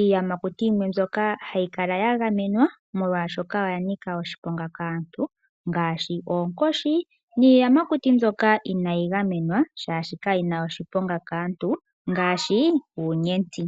iiyamakuti yimwe mbyoka ha yikala ya gamenwa molwaashoka oya nika oshiponga kaantu ngaashi oonkoshi, niiyamakuti mbyoka inaa yigamenwa shaashi ka yina oshiponga kaantu ngaashi uunyenti.